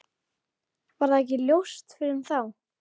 Varð það ekki ljóst fyrr en þá.